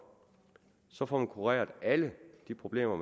så får man kureret alle de problemer